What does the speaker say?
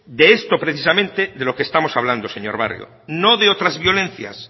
de esto es precisamente de lo que estamos hablando señor barrio no de otras violencias